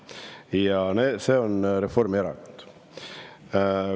Ja see on Reformierakond.